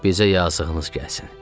Bizə yazığınız gəlsin.